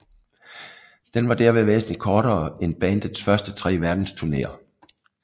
Den var derved væsentligt kortere end bandets første tre verdensturnéer